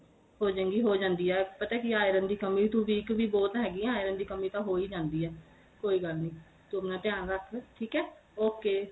ਹੋ ਜੇ ਗੀ ਹੋ ਜਾਂਦੀ ਏ ਪਤਾ ਕੀ ਏ iron ਦੀ ਕਮੀ ਤੂੰ weak ਵੀ ਬਹੁਤ ਹੈਗੀ ਏ iron ਦੀ ਕੰਮੀ ਤਾਂ ਹੋਈ ਜਾਂਦੀ ਏ ਕੋਈ ਗੱਲ ਨੀਂ ਤੂੰ ਆਪਣਾ ਧਿਆਨ ਰੱਖ ਠੀਕ ਏ ok